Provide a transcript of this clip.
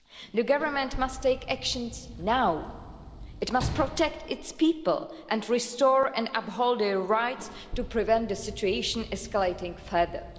The government must take action now. It must protect its people and restore and uphold their rights to prevent the situation escalating further.